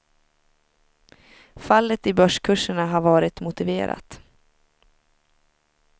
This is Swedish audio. Fallet i börskurserna har varit motiverat.